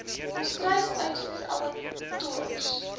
volstruis uitvoer abattoirs